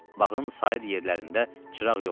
Bağın sair yerlərində çıraq yoxdu.